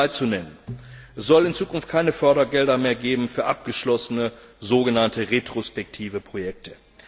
Um nur drei zu nennen Es soll in Zukunft keine Fördergelder mehr geben für abgeschlossene, sogenannte retrospektive Projekte.